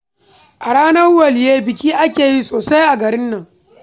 A ranar Waliyyai, biki ake yi sosai a garin Kano